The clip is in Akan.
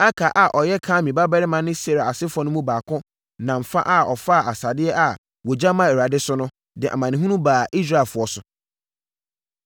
Akar a ɔyɛ Karmi babarima ne Serah asefoɔ no mu baako nam fa a ɔfaa asadeɛ a wɔgya maa Awurade no so, de amanehunu baa Israelfoɔ so.